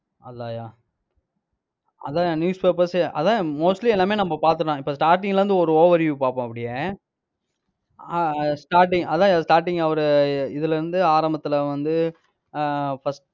அதான்யா அதான்யா news papers ஏ அதான்யா mostly எல்லாமே நம்ம பார்த்துட்டோம். இப்ப starting ல இருந்து ஒரு overview பார்ப்போம் அப்படியே. ஆஹ் starting அதான்யா starting அவரு இதுல இருந்து ஆரம்பத்துல வந்து ஆஹ் first